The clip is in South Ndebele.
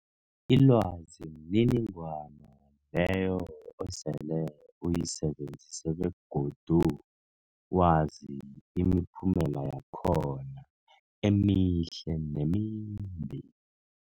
Ilwazi mniningwana leyo osele uyisebenzisile begodu wazi imiphumela yakhona emihle nemimbi.